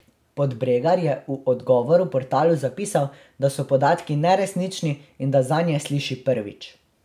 Podbregar je v odgovoru portalu zapisal, da so podatki neresnični in da zanje sliši prvič.